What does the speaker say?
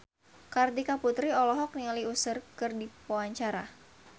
Kartika Putri olohok ningali Usher keur diwawancara